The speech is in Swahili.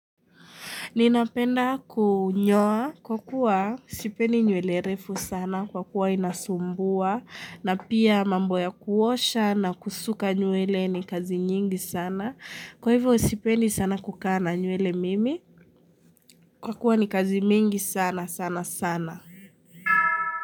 Ninapenda kunyoa kwa kuwa sipendi nywele refu sana kwa kuwa inasumbua na pia mambo ya kuosha na kusuka nywele ni kazi nyingi sana. Kwa hivyo sipendi sana kukaa na nywele mimi kwa kuwa ni kazi mingi sana sana sana.